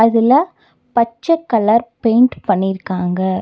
இதுல பச்ச colour paint பண்ணிர்காங்க.